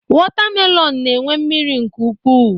Wọtamelọn na-enwe mmiri nke ukwu.